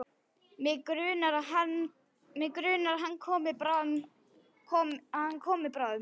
Mig grunar að hann komi bráðum.